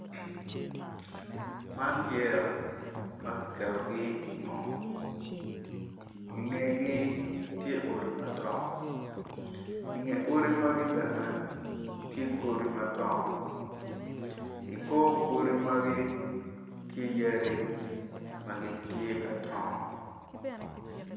Man yeya ma kiketogi ingom ingegi tye odi madongo inge odi magi bene tye godi madongo i kor godi magi tye yadi ma gitye ka dongo.